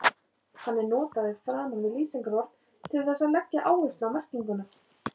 Hann er notaður framan við lýsingarorð til þess að leggja áherslu á merkinguna.